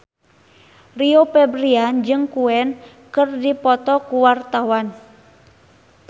Rio Febrian jeung Queen keur dipoto ku wartawan